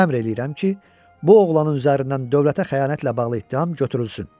Əmr eləyirəm ki, bu oğlanın üzərindən dövlətə xəyanətlə bağlı ittiham götürülsün.